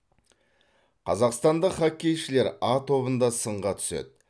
қазақстандық хоккейшілер а тобында сынға түседі